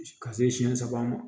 Ka se siɲɛ saba ma